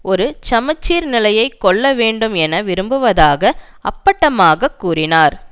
ஒரு சம சீர் நிலையை கொள்ள வேண்டும் என விரும்புவதாக அப்பட்டமாகக் கூறினார்